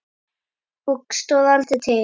Og stóð aldrei til.